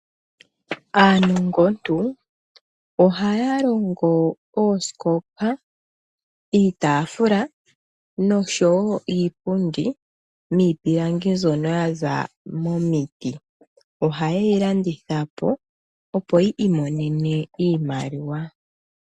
Aanongontu ohaya longo oosikopa, iitaafula nosho wo iipundi miipilangi mbyono ya za momiti. Ohaye yi landitha po, opo yi imonene iimaliwa.